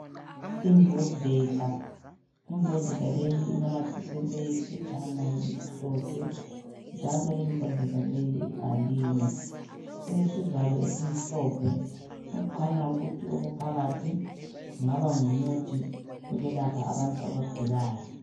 Imbodlela, imbodlela leyi inamathiselwe yiphetshana elimhlophe njalo imbodlela leyi ibhaliwe ilesivalo esimhlophe okukhanya ukuthi lokhu okuphakathi kungaba ngumuthi olapha abantu abagulayo.